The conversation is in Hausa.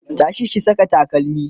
tashi ki Saka takalmi!